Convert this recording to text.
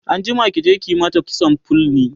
anjima ki je ki mata kitson fulni!